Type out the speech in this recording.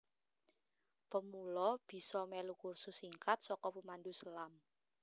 Pemula bisa melu kursus singkat saka pemandu selam